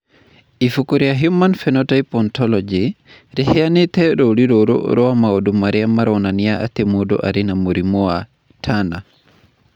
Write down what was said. Ibuku rĩa Human Phenotype Ontology rĩheanĩte rũũri rũrũ rwa maũndũ marĩa maronania atĩ mũndũ arĩ na mũrimũ wa Turner.